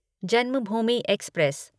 Janmabhoomi express